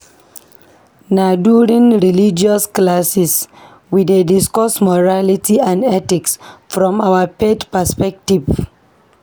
Na during religious classes, we dey discuss morality and ethics from our faith perspective.